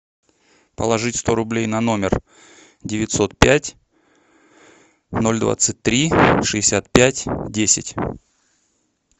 положить сто рублей на номер девятьсот пять ноль двадцать три шестьдесят пять десять